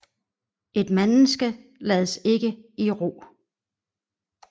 Et menneske lades ikke i ro